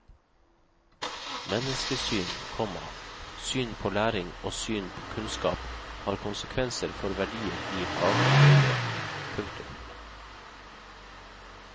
Menneskesyn, komma syn på læring og syn på kunnskap har konsekvenser for verdier i faglig veiledning. punktum